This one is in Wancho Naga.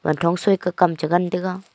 wanthong soike kam chengan taiga